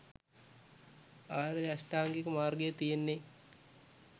ආර්ය අෂ්ටාංගික මාර්ගය තියෙන්නේ.